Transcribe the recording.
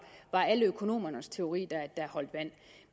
alle økonomernes teori der holdt vand